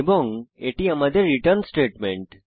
এবং এটি আমাদের রিটার্ন স্টেটমেন্ট